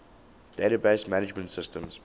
database management systems